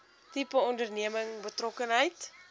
tipe onderneming betrokkenheid